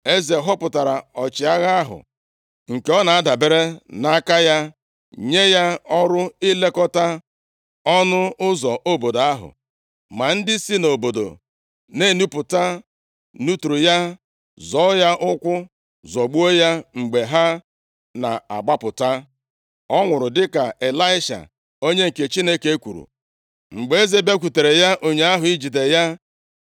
Eze họpụtara ọchịagha ahụ, nke ọ na-adabere nʼaka ya, nye ya ọrụ ilekọta ọnụ ụzọ obodo ahụ. Ma ndị si nʼobodo na-enupụta nuturu ya, zọọ ya ụkwụ, zọgbuo ya mgbe ha na-agbapụta. + 7:17 Amụma ahụ mezuru nʼisi ọchịagha eze dịka e kwuru ya. \+xt 2Ez 7:2\+xt* Ọ nwụrụ dịka Ịlaisha onye nke Chineke kwuru mgbe eze bịakwutere ya ụnyaahụ, ijide ya.